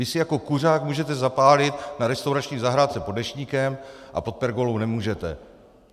Vy si jako kuřák můžete zapálit na restaurační zahrádce pod deštníkem a pod pergolou nemůžete.